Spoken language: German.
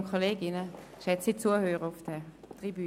Ich bitte Sie, sich frühzeitig zu melden.